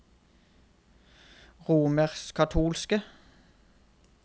romerskkatolske